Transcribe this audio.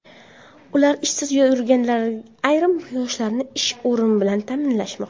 Ular ishsiz yurganlar ayrim yoshlarni ish o‘rinlari bilan ta’minlashmoqda.